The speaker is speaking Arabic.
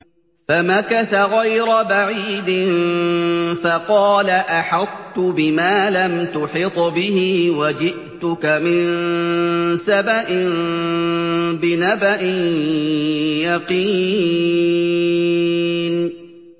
فَمَكَثَ غَيْرَ بَعِيدٍ فَقَالَ أَحَطتُ بِمَا لَمْ تُحِطْ بِهِ وَجِئْتُكَ مِن سَبَإٍ بِنَبَإٍ يَقِينٍ